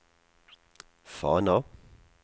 Fana